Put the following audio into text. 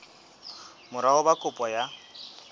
mora ho ba kopo ya